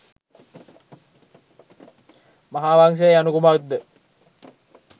මහාවංසය යනු කුමක්ද